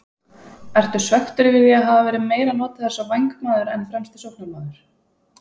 Ertu svekktur yfir því að hafa verið meira notaður sem vængmaður en fremsti sóknarmaður?